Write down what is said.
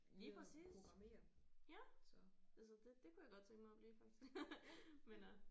Lige præcis ja altså det det kunne jeg godt tænke mig at blive faktisk men øh